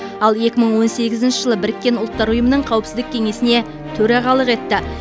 ал екі мың он сегізінші жылы біріккен ұлттар ұйымының қауіпсіздік кеңесіне төрағалық етті